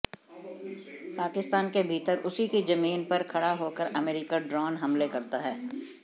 पाकिस्तान के भीतर उसी की जमीन पर खड़ा होकर अमेरिका ड्रोन हमले करता है